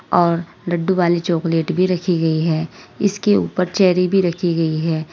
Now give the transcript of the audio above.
और लड्डू वाली चॉकलेट भी रखी गई है। इसके ऊपर चेरी भी रखी गई है।